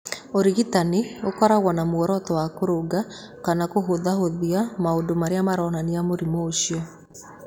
Ũrigitani ũkoragwo na muoroto wa kũrũnga kana kũhũthahũthia maũndũ marĩa maronania mũrimũ ũcio.